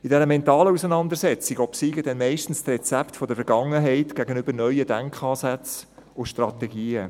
In dieser mentalen Auseinandersetzung obsiegen dann meistens die Rezepte der Vergangenheit gegenüber neuen Denkansätzen und Strategien.